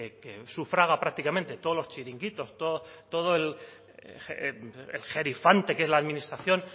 que sufraga prácticamente todos los chiringuitos todo el gerifalte que es la administración